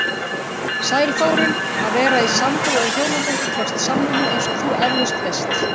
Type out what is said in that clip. Sæl Þórunn, að vera í sambúð eða hjónabandi krefst samvinnu eins og þú efalaust veist.